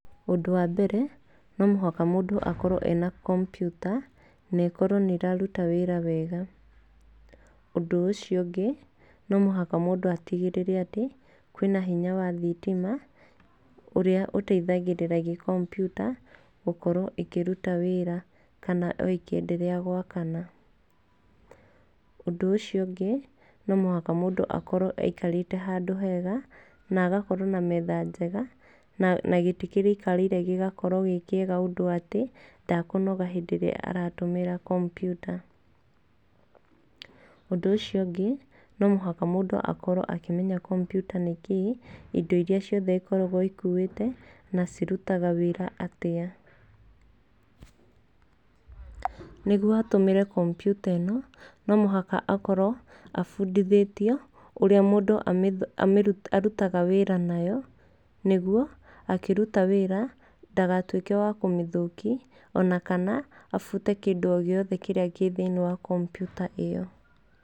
Ũndũ wa mbere, no mũhaka mũndũ akorwo ena kompiuta na ĩkorwo nĩ ĩraruta wĩra wega. Ũndũ ũcio ũngĩ, no mũhaka mũndũ atigĩrĩre atĩ kwĩna hinya wa thitima ũrĩa ũteithagĩrĩria kompiuta gũkorwo ikĩruta wĩra kana ĩkĩenderea gwakana. Ũndũ ũcio ũngĩ, no mũhaka mũndũ akorwo aikarĩte handũ hega na agakorwo na metha njega na gĩti kĩrĩa aikarĩire gĩgakorwo gĩ kĩega ũndũ atĩ ndakũnoga hĩndĩ ĩrĩa aratumĩra kompiuta. Ũndũ ũcio ũngĩ, no mũhaka mũndũ akorwo akĩmenya kompiuta nĩ kĩĩ, indo iria ciothe ĩkoragwo ĩkuĩte na cirutaga wĩra atĩa. Nĩguo atũmĩre kompiuta ĩno, no mũhaka akorwo abundithĩtio ũrĩa mũndũ arutaga wĩra nayo, nĩguo akĩruta wĩra ndagatuĩke wa kũmĩthũki ona kana abute kĩndũ o gĩothe kĩrĩa gĩthĩ-inĩ wa kompiuta ĩyo.